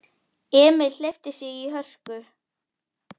Emil hleypti í sig hörku.